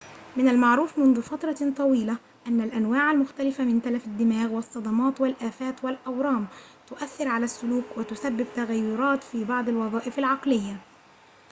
من المعروف منذ فترة طويلة أن الأنواع المختلفة من تلف الدماغ والصدمات والآفات والأورام تؤثر على السلوك وتسبب تغيرات في بعض الوظائف العقلية